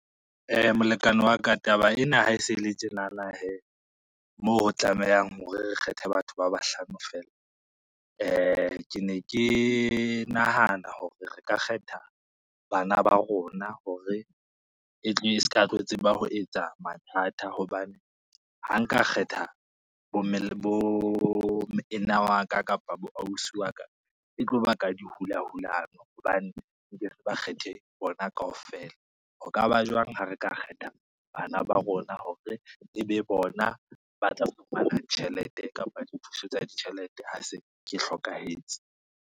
Molekane wa ka, taba ena ha e se e le tjenana her, mo tlamehang hore re kgethe batho ba bahlano fela. Ke ne ke nahana hore re ka kgetha bana ba rona hore e tle e ska tlo tseba ho etsa mathata hobane, ha nka kgetha bomme, le bomoena wa ka kapa boausi wa ka e tlo baka di hulahulano hobane re ke se ba kgethe bona kaofela. Ho ka ba jwang ha re ka kgetha bana ba rona hore e be bona ba tla fumana tjhelete kapa dithuso tsa ditjhelete ha se ke hlokahetse.